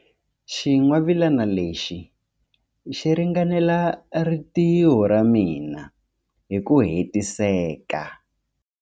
Xingwavila lexi xi ringanela rintiho ra mina hi ku hetiseka.